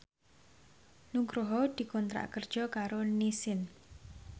Nugroho dikontrak kerja karo Nissin